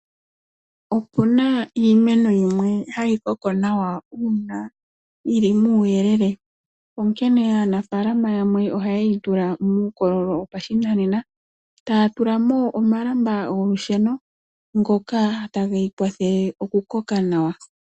Opu na iimeno yimwe hayi koko nawa uuna yili muuyelele , onkene aanafaalama yamwe ohaye yi tula muukololo wopashinane, taa tula mo omalamba golusheno, ngoka ta geyi kwathele okukoka nawa.